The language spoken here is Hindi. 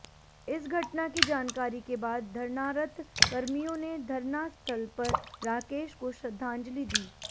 इस घटना की जानकारी के बाद धरनारत कर्मियों ने धरनास्थल पर राकेश को श्रद्धांजलि दी